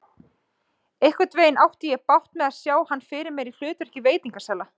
Einhvernveginn átti ég bágt með að sjá hann fyrir mér í hlutverki veitingasala.